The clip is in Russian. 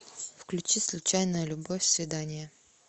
включи случайная любовь свидание